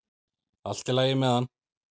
Allt í lagi með hann!